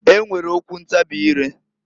E nwere okwu ntabị ire.